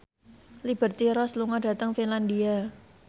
Liberty Ross lunga dhateng Finlandia